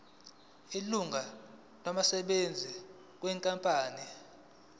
ilungu labasebenzi benkampani